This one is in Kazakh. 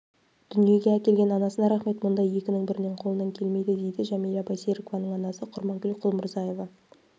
дүниеге әкелген анасына рақмет мұндай екінің бірінің қолынан келмейді дейді жәмила байсерікованың анасы құрманкүл құлмұрзаева